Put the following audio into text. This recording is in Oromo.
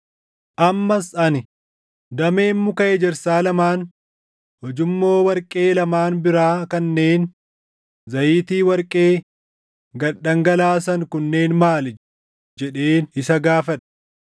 Ammas ani, “Dameen muka ejersaa lamaan ujummoo warqee lamaan biraa kanneen zayitii warqee gad dhangalaasan kunneen maali!” jedheen isa gaafadhe.